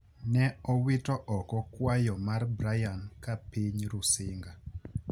ne owito oko kwayo mar Brian ka piny Rusinga